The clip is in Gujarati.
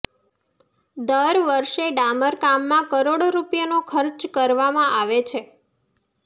દર વર્ષે ડામર કામમાં કરોડો રૂપિયાનો ખર્ચ કરવામાં આવે છે